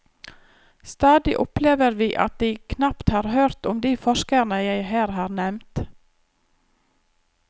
Stadig opplever vi at de knapt har hørt om de forskerne jeg her har nevnt.